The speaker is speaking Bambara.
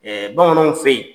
bamananw fɛ yi